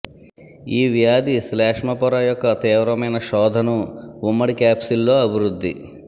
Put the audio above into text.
ఈ వ్యాధి శ్లేష్మ పొర యొక్క తీవ్రమైన శోథను ఉమ్మడి క్యాప్సిల్ల్లో అభివృద్ధి